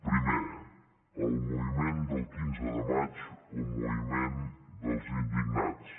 primer el moviment del quinze de maig o moviment dels indignats